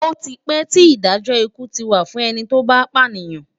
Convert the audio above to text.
Oti pè ti Idájò ikú ti wá fún èni tó bá pánìyàn